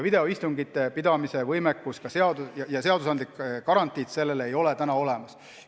Videoistungite pidamise võimekust ja ka seadusandlikku garantiid sellele ei ole praegu olemas.